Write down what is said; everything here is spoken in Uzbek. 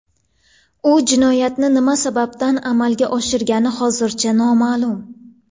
U jinoyatni nima sababdan amalga oshirgani hozircha noma’lum.